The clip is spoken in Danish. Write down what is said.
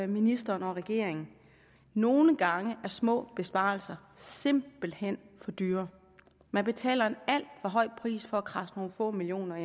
ministeren og regeringen nogle gange er små besparelser simpelt hen for dyre man betaler en alt for høj pris for at kradse nogle få millioner